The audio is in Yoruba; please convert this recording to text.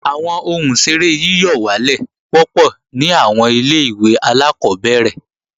Àwọn ohun ìṣeré yíyọ̀wálè wọ́pọ̀ ní àwọn ilé-ìwé alákọ́bẹ̀rẹ̀